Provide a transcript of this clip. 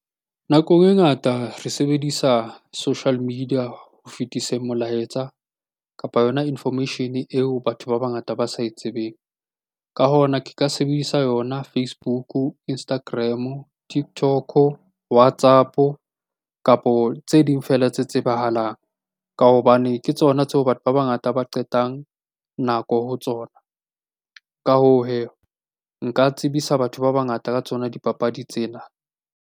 Nakong e ngata re sebedisa social media ho fetisa molaetsa, kapa yona information-e eo batho ba bangata ba sa e tsebeng. Ka hona, ke ka sebedisa yona Facebook, Instagram, TikTok, WhatsApp-o, kapo tse ding feela tse tsebahalang. Ka hobane ke tsona tseo batho ba bangata ba qetang nako ho tsona. Ka hoo hee, nka tsebisa batho ba bangata ka tsona dipapadi tsena.